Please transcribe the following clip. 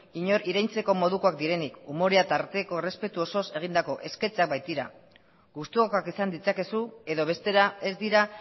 inork irensteko modukoak direnik umore tarteko errespetu osoz egindako sketchak baitira gustukoagoa izan ditzakezu edo bestera ez dira